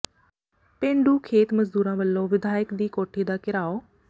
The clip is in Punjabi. ਪੇਂਡੂ ਖੇਤ ਮਜ਼ਦੂਰਾਂ ਵੱਲੋਂ ਵਿਧਾਇਕ ਦੀ ਕੋਠੀ ਦਾ ਘਿਰਾਓ